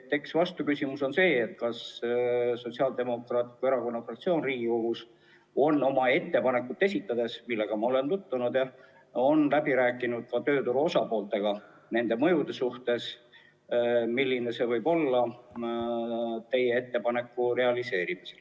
Eks vastuküsimus on see, kas Sotsiaaldemokraatliku Erakonna fraktsioon on enne Riigikogus oma ettepaneku esitamist, millega ma olen tutvunud, läbi rääkinud ka tööturu osapooltega, et millised mõjud võivad olla teie ettepaneku realiseerimisel.